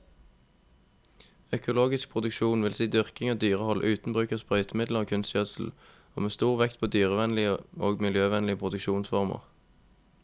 Økologisk produksjon vil si dyrking og dyrehold uten bruk av sprøytemidler og kunstgjødsel, og med stor vekt på dyrevennlige og miljøvennlige produksjonsformer.